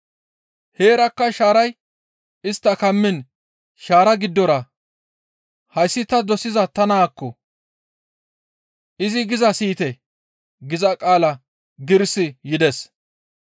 Heerakka shaaray istta kammiin shaara giddora, «Hayssi ta dosiza ta naazakko! Izi gizaa siyite» giza qaala giirissi yides.